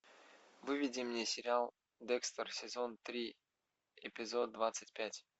выведи мне сериал декстер сезон три эпизод двадцать пять